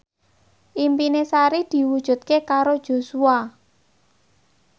impine Sari diwujudke karo Joshua